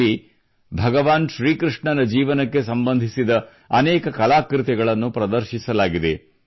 ಇಲ್ಲಿ ಭಗವಾನ್ ಶ್ರೀಕೃಷ್ಣನ ಜೀವನಕ್ಕೆ ಸಂಬಂಧಿಸಿದ ಅನೇಕ ಕಲಾಕೃತಿಗಳನ್ನು ಪ್ರದರ್ಶಿಸಲಾಗಿದೆ